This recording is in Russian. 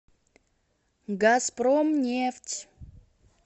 газпромнефть